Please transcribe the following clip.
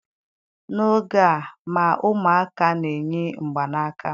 N'oge a ma ụmụaka na-eyi mgbanaka